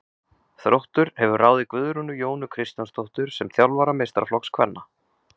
Þróttur hefur ráðið Guðrúnu Jónu Kristjánsdóttur sem þjálfara meistaraflokks kvenna.